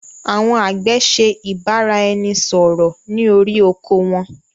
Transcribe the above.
Àwọn àgbẹ̀ ṣe ìbáraẹnisọọ̀rọ̀ ni orí oko won.